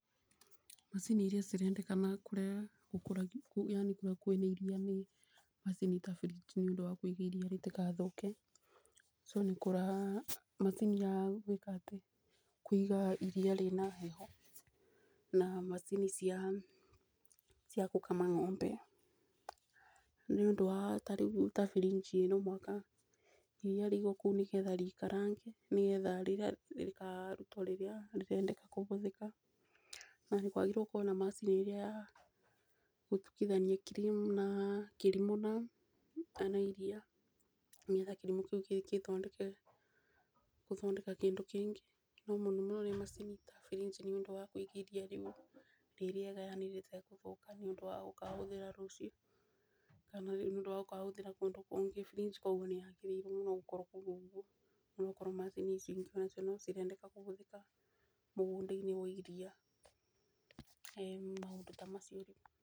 Mcini iria cirendekana kũria gũkũragio yani kũrĩa kwĩna iria nĩ macini ta fridge nĩ ũndu wa kũiga iria rĩu rĩtigathũke so nĩkũra macini ya gwĩka atĩ kuiga iria rĩna heho na macini cia gũkama ng'ombe. Nĩ ũndũ wa tarĩu ta firinji ĩno mũaka iria rĩigwo kũu nĩ getha rĩikarange nĩ getha rĩkarutwo rĩrĩa rĩrendeka kũbũthĩka. Na kwagĩrĩirwo gũkorwo na macini ĩria ya gũthukitania cream kĩrimũ na iria, nĩ getha kĩrimũ kĩu kĩthondeke gũthondeka kĩndũ kĩngĩ. No mũno no ũrĩa macini ta firinji nĩ ũndũ wakũigithia iria rĩrĩega yani rĩtegũthũka nĩ ũndũ wa gũkabũthĩra rũciũ kana nĩ ũndũ wa gkabũthĩra kũndũ kũngĩ. Frinji koguo nĩ yagĩrĩire mũno gũkorwo kũu ũguo nĩ gũkorwo macini ici onacio nĩ cirendeka kũbũthĩka mũgũnda-inĩ wa iria, ĩĩ maũndũ ta macio rĩu.